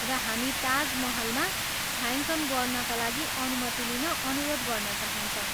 र हामी ताज महलमा छायाङ्कन गर्नाका लागि अनुमति लिन अनुरोध गर्न चाहन्छौँ।